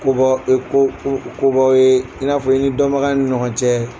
Ko ko ko b'aw ye i n'a fɔ dɔnbagaya ni ɲɔgɔn cɛ